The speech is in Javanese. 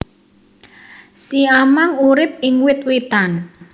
Siamang urip ing wit witan